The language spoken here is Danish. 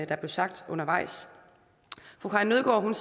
der blev sagt undervejs fru karin nødgaard